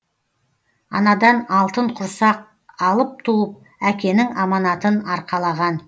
анадан алтын құрсақ алып туып әкенің аманатын арқалаған